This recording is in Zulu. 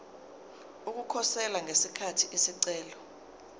ukukhosela ngesikhathi isicelo